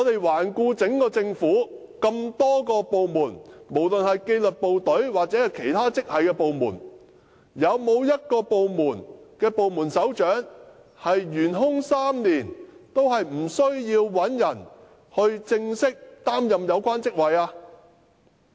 環顧各個政府部門，無論是紀律部隊抑或其他職系部門，有沒有一個部門首長職位會懸空3年之久，但仍無須有人正式擔任有關職位的呢？